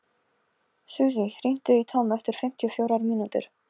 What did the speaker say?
Susie, hringdu í Tom eftir fimmtíu og fjórar mínútur.